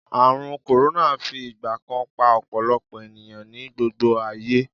Ààrùn kòrónà fi ìgbà kan pa ọ̀pọ̀lọpọ̀ ènìyàn ní gbogbo ayé